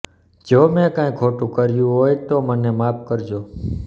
જો મે કંઇ ખોટુ કહ્યુ હોય તો મને માફ કરજો